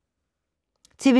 TV 2